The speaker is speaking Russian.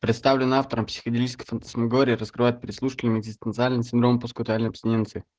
представленная автором психоделическая фантасмагория раскрывает прослушки медиастинальный синдром поскутальной абстиненции